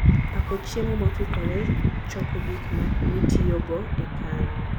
Pako chiemo mokikore, choko gik mitiyogo e kano